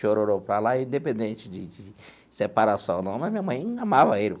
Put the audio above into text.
Chororô para lá, independente de de separação ou não né minha mãe amava ele.